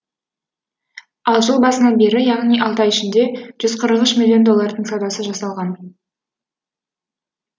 ал жыл басынан бері яғни алты ай ішінде жүз қырық үш миллион доллардың саудасы жасалған